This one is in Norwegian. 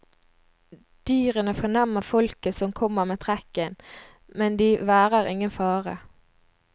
Dyrene fornemmer folket som kommer med trekken, men de værer ingen fare.